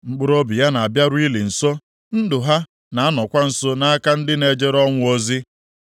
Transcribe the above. Mkpụrụobi ya na-abịaru ili nso, ndụ ha na-anọkwa nso nʼaka ndị na-ejere ọnwụ ozi.